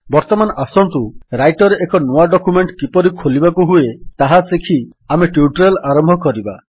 ବର୍ତ୍ତମାନ ଆସନ୍ତୁ ରାଇଟର୍ ରେ ଏକ ନୂଆ ଡକ୍ୟୁମେଣ୍ଟ୍ କିପରି ଖୋଲିବାକୁ ହୁଏ ତାହା ଶିଖି ଆମେ ଟ୍ୟୁଟୋରିଆଲ୍ ଆରମ୍ଭ କରିବା